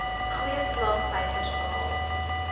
goeie slaagsyfers behaal